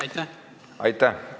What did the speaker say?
Aitäh!